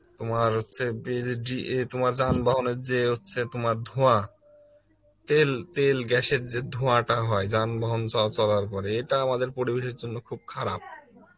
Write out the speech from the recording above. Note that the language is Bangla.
তোমার হচ্ছে এ জি এ তোমার যানবাহনের যে হচ্ছে যে তোমার ধোঁয়া, তেল তেল গেসের যে ধোয়া যান বহন চ~ চলার পরে, এটা আমাদের পরিবেশের জন্য খুব খারাপ